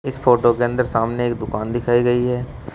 इस फोटो के अंदर सामने एक दुकान दिखाई गई है।